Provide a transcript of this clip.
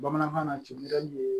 Bamanankan na timina